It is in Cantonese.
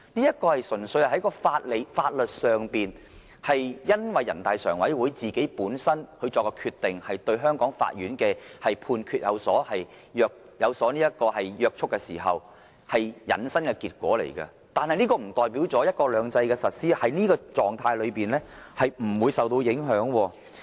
這純粹是在法律上，基於人大常委會本身作的決定對香港法院的判決有約束力，繼而引申的結果。但是，這並不代表"一國兩制"的實施，在這種狀態下不會受到影響。